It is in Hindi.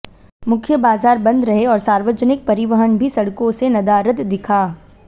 मुख्य बाजार बंद रहे और सार्वजनिक परिवहन भी सड़कों से नदारद दिखा